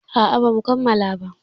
A a ba mu kammala ba.